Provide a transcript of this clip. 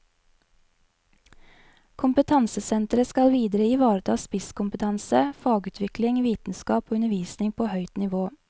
Kompetansesenteret skal videre ivareta spisskompetanse, fagutvikling, vitenskap og undervisning på høyt nivå.